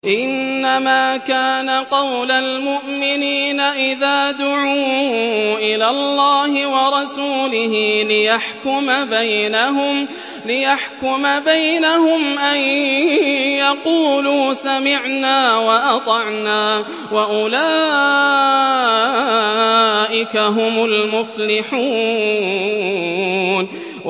إِنَّمَا كَانَ قَوْلَ الْمُؤْمِنِينَ إِذَا دُعُوا إِلَى اللَّهِ وَرَسُولِهِ لِيَحْكُمَ بَيْنَهُمْ أَن يَقُولُوا سَمِعْنَا وَأَطَعْنَا ۚ وَأُولَٰئِكَ هُمُ الْمُفْلِحُونَ